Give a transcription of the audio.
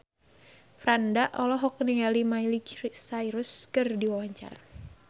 Franda olohok ningali Miley Cyrus keur diwawancara